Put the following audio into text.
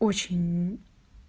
очень